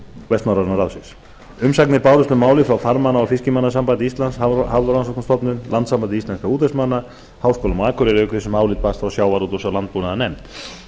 vestnorræna ráðsins umsagnir bárust um málið frá farmanna og fiskimannasambandi íslands hafrannsóknastofnuninni landssambandi íslenskra útvegsmanna og háskólanum á akureyri auk þess sem álit barst frá sjávarútvegs og landbúnaðarnefnd